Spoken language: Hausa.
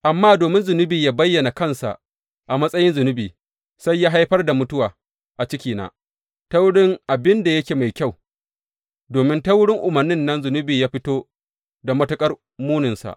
Amma domin zunubi ya bayyana kansa a matsayin zunubi, sai ya haifar da mutuwa a cikina ta wurin abin da yake mai kyau, domin ta wurin umarnin nan zunubi ya fito da matuƙar muninsa.